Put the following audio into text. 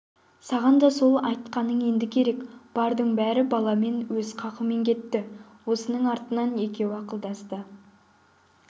саған да сол айтқаның енді керек бардың бәрі баламен өз қақымен кетті осының артынан екеуі ақылдасты